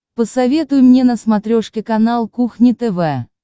посоветуй мне на смотрешке канал кухня тв